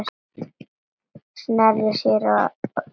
Sneri sér svo að mömmu.